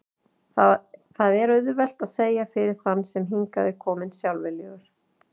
Það er auðvelt að segja fyrir þann sem hingað er kominn sjálfviljugur.